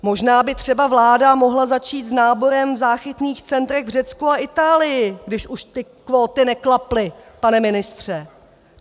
Možná by třeba vláda mohla začít s náborem v záchytných centrech v Řecku a Itálii, když už ty kvóty neklaply, pane ministře!